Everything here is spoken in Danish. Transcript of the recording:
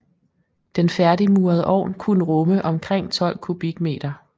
Den færdigmurede ovn kunne rumme omkring 12 m3